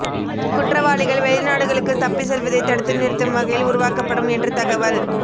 குற்றவாளிகள் வெளிநாடுகளுக்கு தப்பிச் செல்வதை தடுத்து நிறுத்தும் வகையில் உருவாக்கப்படும் என்று தகவல்